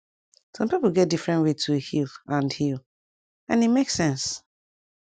sum pipu get different way to heal and heal and e make sense